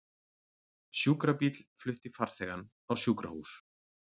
Sjúkrabíll flutti farþegann á sjúkrahús